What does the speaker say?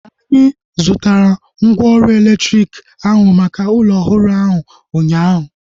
Anyị zụtara mgwooru elektriki ahu maka ụlọ ọhụrụ ahu ụnyaahụ